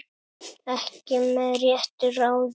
Ekki með réttu ráði?